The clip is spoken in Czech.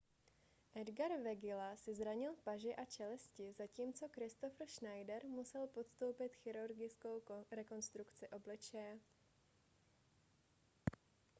edgar veguilla si zranil paži a čelisti zatímco kristoffer schneider musel podstoupit chirurgickou rekonstrukci obličeje